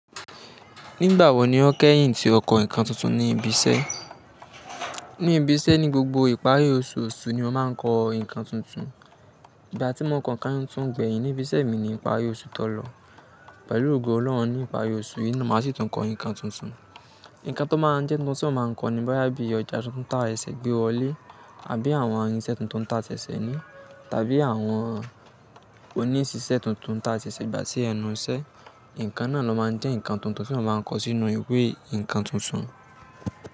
Nígbà wo ni o kẹ́yìn tí o kọ ǹkan tuntun ní ibi iṣẹ́? Ní ibi iṣẹ́ ní gbogbo ìparí oṣù osù ni ó máa ń kọ ǹkan tuntun. Ìgbà tí mo kọ káńtù tó ń gbé ẹyìn ní ibi iṣẹ́ mi ni ìparí oṣù tó lọ. Pẹ̀lú ògo Ọlọ́run ní ìparí oṣù yìí ni màá sì tún kọ ǹkan tuntun. Ǹkan tó máa ń jẹ́ ohun tí a máa ń kọ ni, bóyá bíi ọjà tuntun tá ẹsẹ̀ gbé wọlé, àbí àwọn irinṣẹ́ tuntun ta ń ta ṣẹ̀ṣẹ̀ ní, tàbí àwọn osíṣẹ́ tuntun ta ń ta ṣẹ̀ṣẹ̀ gbà sí ẹnu iṣẹ́. Ǹkan náà ló máa ń jẹ́ ǹkan tuntun tí mo máa ń kọ sínú ìwé ǹkan tuntun.